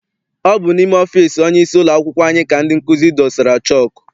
Ọ bụ n'ime ọfịịsi onyeisi ụlọakwụkwọ anyị ka ndị nkụzi dosara chọku.